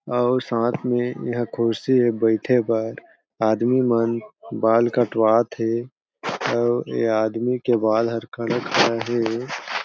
अउ साथ में एहा खुर्सी ए बईठे पर आदमी मन बाल कटवात हे अउ ए आदमी के बाल कलर करत हे।